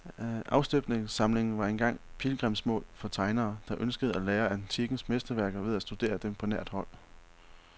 Afstøbningssamlingen var engang pilgrimsmål for tegnere, der ønskede at lære af antikkens mesterværker ved at studere dem på nært hold.